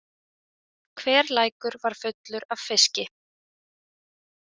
Hver lækur var fullur af fiski.